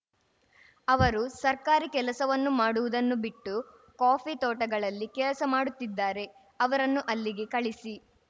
ಅವರು ಸರ್ಕಾರಿ ಕೆಲಸವನ್ನು ಮಾಡುವುದನ್ನು ಬಿಟ್ಟು ಕಾಫಿ ತೋಟಗಳಲ್ಲಿ ಕೆಲಸ ಮಾಡುತ್ತಿದ್ದಾರೆ ಅವರನ್ನು ಅಲ್ಲಿಗೆ ಕಳಿಸಿ